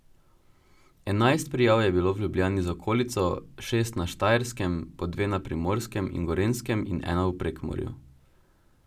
Enajst prijav je bilo v Ljubljani z okolico, šest na Štajerskem, po dve na Primorskem in Gorenjskem in ena v Prekmurju.